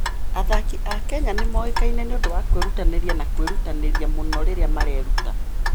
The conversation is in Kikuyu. Athaki a Kenya nĩ moĩkaine nĩ ũndũ wa kwĩrutanĩria na kwĩrutanĩria mũno rĩrĩa mareruta.